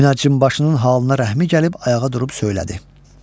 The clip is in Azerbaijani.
Münəccimbaşının halına rəhmi gəlib ayağa durub söylədi.